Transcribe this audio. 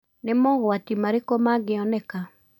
Nĩ mogwati marĩkũ mangĩoneka?